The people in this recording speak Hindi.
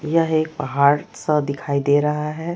यह एक पहाड़ सा दिखाई दे रहा है।